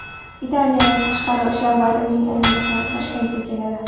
Italiya tashqi ishlar vazirining o‘rinbosari Toshkentga keladi.